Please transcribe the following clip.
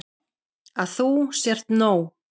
Að þú sért nóg.